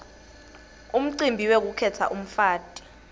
umcibi wekukhetsa umfati